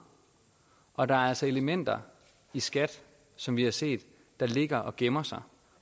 og der er altså elementer i skat som vi har set ligger og gemmer sig